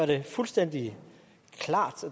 det fuldstændig klart